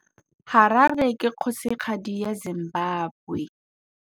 Harare ke kgosigadi ya Zimbabwe.